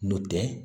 N'o tɛ